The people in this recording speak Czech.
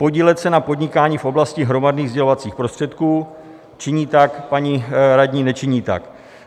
"Podílet se na podnikání v oblasti hromadných sdělovacích prostředků" - činí tak paní radní, nečiní tak?